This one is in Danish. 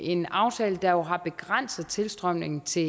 en aftale der jo har begrænset tilstrømningen til